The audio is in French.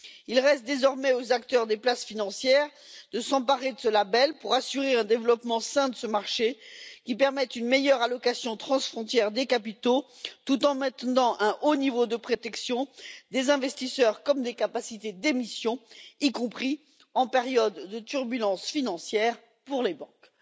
Il reste désormais aux acteurs des places financières de s'emparer de ce label pour assurer un développement sain de ce marché qui permette une meilleure allocation transfrontière des capitaux, tout en maintenant un haut niveau de protection des investisseurs comme des capacités d'émission, y compris en période de turbulences financières pour les banques.